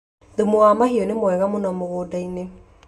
Thumu wa mahiũ nĩ mwega mũno mũgũnda-inĩ